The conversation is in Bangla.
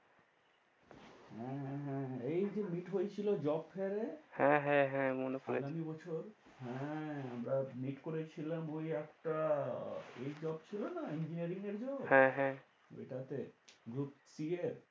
হ্যাঁ, হ্যাঁ, হ্যাঁ। এই যে meet হয়েছিল job fair এ। হ্যাঁ, হ্যাঁ, হ্যাঁ মনে পরেছে। আগামী বছর। হ্যাঁ। আমরা meet করেছিলাম ওই একটা, এ job ছিল না engineering এর job হ্যাঁ, হ্যাঁ। ওইটাতে। Group P এর ওইখানে।